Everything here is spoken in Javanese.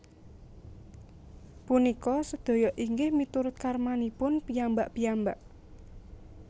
Punika sedaya inggih miturut karmanipun piyambak piyambak